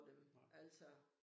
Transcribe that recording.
Nej